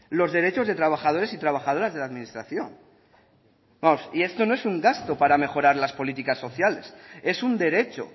los derechos de trabajadores y trabajadoras de la administración vamos y esto no es un gasto para mejorar las políticas sociales es un derecho